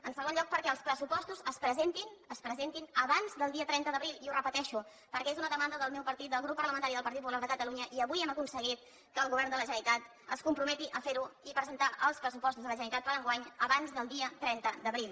en segon lloc perquè els pressupostos es presentin abans del dia trenta d’abril i ho repeteixo perquè és una demanda del meu partit del grup parlamentari del partit popular de catalunya i avui hem aconseguit que el govern de la generalitat es comprometi a fer ho i a presentar els pressupostos de la generalitat per enguany abans del dia trenta d’abril